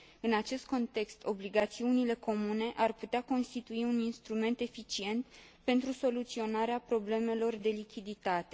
În acest context, obligațiunile comune ar putea constitui un instrument eficient pentru soluționarea problemelor de lichiditate.